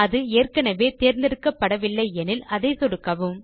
அது ஏற்கெனெவே தேர்ந்து எடுக்கப்படவில்லை எனில் அதை சொடுக்குக